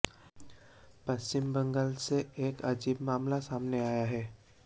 पश्चिम बंगाल से एक अजीब मामला सामने आया है